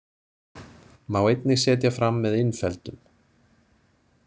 Má einnig setja fram með innfeldum.